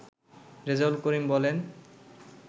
রেজাউল করিম বলেন